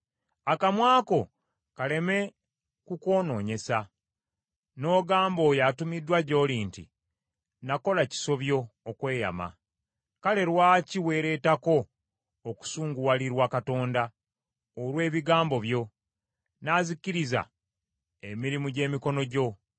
Akamwa ko kaleme ku kwonoonyesa, n’ogamba oyo atumiddwa gy’oli nti, “Nakola kisobyo okweyama.” Kale lwaki weeretako okusunguwalirwa Katonda olw’ebigambo byo, n’azikiriza emirimu gy’emikono gyo?